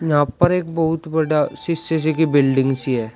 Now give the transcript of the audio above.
यहां पर एक बहुत बड़ा शीशे सी की बिल्डिंग सी है।